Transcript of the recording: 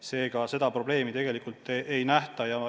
Seega seda probleemi ei nähta.